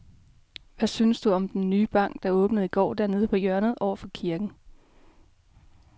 Hvad synes du om den nye bank, der åbnede i går dernede på hjørnet over for kirken?